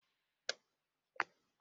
Ee, aga m ege akụkọ ífò ahụ ma o bido ịkọ ya.